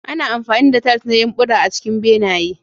Ana amfani da tiles na yumbura a cikin benaye.